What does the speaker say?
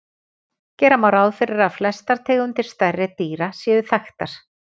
Gera má ráð fyrir að flestar tegundir stærri dýra séu þekktar.